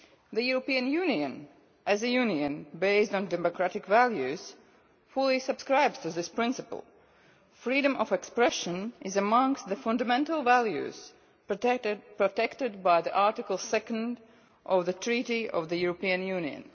The European Union, as a union based on democratic values, fully subscribes to this principle freedom of expression is amongst the fundamental values protected by Article 2 of the Treaty on European Union.